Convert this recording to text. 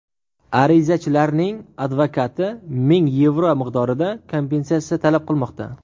Arizachilarning advokati ming yevro miqdorida kompensatsiya talab qilmoqda.